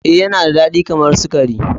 Ee, Yana da dadi kamar sukari.